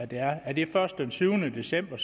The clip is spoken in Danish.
det her er det først den syvende december